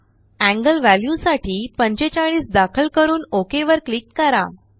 एंगलव्ह्याल्यूसाठी45दाखल करून ओक वर क्लिक करा